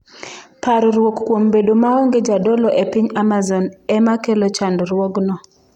Parruok kuom bedo maonge jodolo e piny Amazon e ma kelo chandruokno.